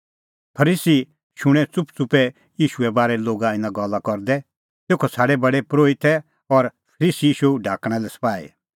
फरीसी शूणैं च़ुपच़ुपै ईशूए बारै लोग इना गल्ला करदै तेखअ छ़ाडै प्रधान परोहितै और फरीसी ईशू ढाकणा लै सपाही